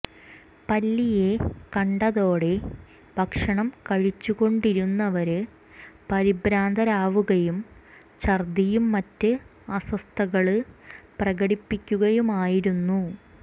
പല്ലിയെ കണ്ടതോടെ ഭക്ഷണം കഴിച്ചുകൊണ്ടിരുന്നവര് പരിഭ്രാന്തരാവുകയും ഛര്ദ്ദിയും മറ്റ് അസ്വസ്ഥതകള് പ്രകടിപ്പിക്കുകയുമായിരുന്നു